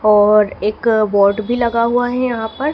और एक बोर्ड भी लगा हुआ है यहां पर।